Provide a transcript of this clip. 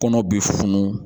Kɔnɔ bi funun